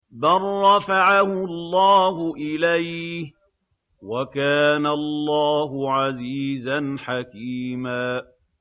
بَل رَّفَعَهُ اللَّهُ إِلَيْهِ ۚ وَكَانَ اللَّهُ عَزِيزًا حَكِيمًا